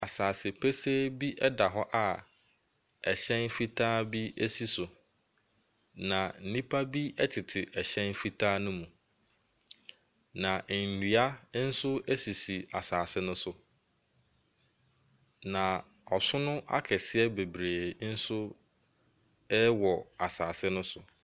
Asasepɛsɛɛ bi da hɔ a ɛhyɛn fitaa bi si so, na nnipa bi tete ɛhyɛn fitaa no mu, na nnia nso sisi asase no so. Na ɔsono akɛseɛ bebree nso wɔ asase no so.